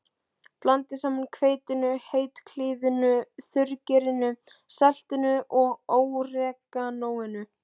Blandið saman hveitinu, hveitiklíðinu, þurrgerinu, saltinu og óreganóinu.